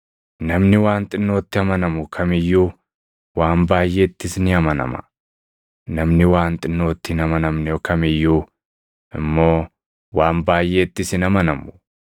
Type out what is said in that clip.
“Namni waan xinnootti amanamu kam iyyuu waan baayʼeettis ni amanama; namni waan xinnootti hin amanamne kam iyyuu immoo waan baayʼeettis hin amanamu.